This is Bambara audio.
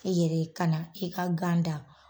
E yɛrɛ ka na i ka gan dan.